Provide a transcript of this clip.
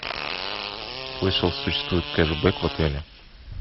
слышал существует кешбек в отеле